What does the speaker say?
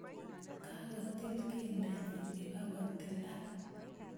Kakotil keldanyin ibakotilak